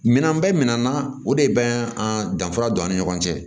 Minɛn bɛɛ minɛ na o de bɛ an danfara don an ni ɲɔgɔn cɛ